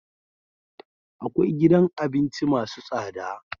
Akwai gidan abinci masu tsada